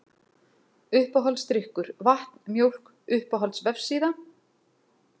Uppáhaldsdrykkur: Vatn, Mjólk Uppáhalds vefsíða?